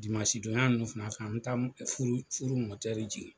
don y'a fana fɛ an mi taa furu jigin